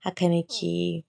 haka nike yi.